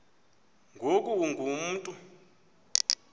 ngoku ungu mntu